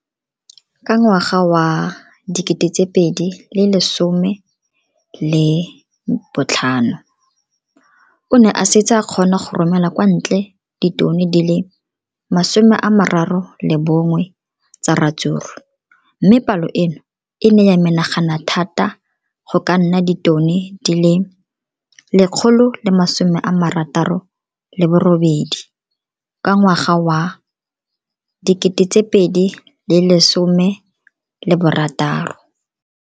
Ka ngwaga wa 2015, o ne a setse a kgona go romela kwa ntle ditone di le 31 tsa ratsuru mme palo eno e ne ya menagana thata go ka nna ditone di le 168 ka ngwaga wa 2016.